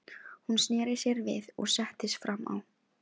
Hún snéri sér við og settist fram á.